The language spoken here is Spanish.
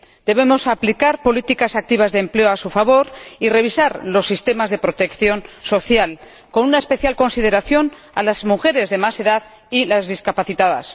Debemos aplicar políticas activas de empleo a su favor y revisar los sistemas de protección social, con una especial consideración a las mujeres de más edad y las discapacitadas.